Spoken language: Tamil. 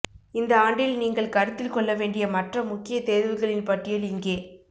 இந்த ஆண்டில் நீங்கள் கருத்தில் கொள்ள வேண்டிய மற்ற முக்கிய தேர்வுகளின் பட்டியல் இங்கே